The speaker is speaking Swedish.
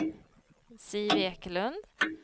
Siv Ekelund